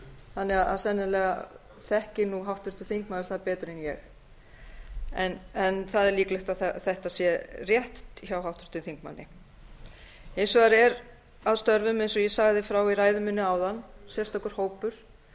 þannig að sennilega þekkir nú háttvirtur þingmaður það betur en ég það er líklegt að þetta sé rétt hjá háttvirtum þingmanni hins vegar er að störfum eins og ég sagði frá í ræðu minni áðan sérstakur hópur